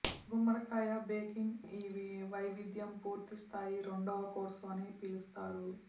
గుమ్మడికాయ బేకింగ్ ఈ వైవిధ్యం పూర్తి స్థాయి రెండవ కోర్సు అని పిలుస్తారు